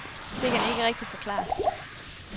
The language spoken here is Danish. Det kan ikke rigtigt forklares.